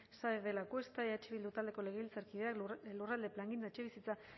saenz de lacuesta eh bildu taldeko legebiltzarkideak lurralde plangintza etxebizitza